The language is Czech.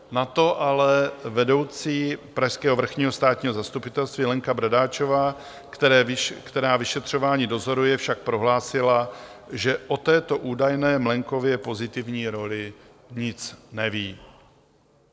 Na to ale vedoucí pražského Vrchního státního zastupitelství Lenka Bradáčová, která vyšetřování dozoruje, však prohlásila, že o této údajné Mlejnkově pozitivní roli nic neví.